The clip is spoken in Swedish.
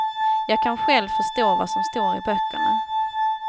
Jag kan själv förstå vad som står i böckerna.